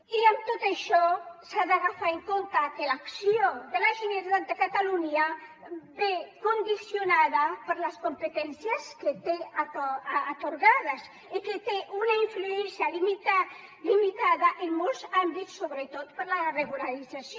i amb tot això s’ha de tenir en compte que l’acció de la generalitat de catalunya ve condicionada per les competències que té atorgades i que té una influència limitada en molts àmbits sobretot per la regularització